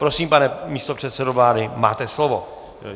Prosím, pane místopředsedo vlády, máte slovo.